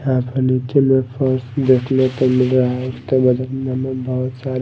यहां पे नीचे में फर्श देखने को मिल रहा है बहुत सारे--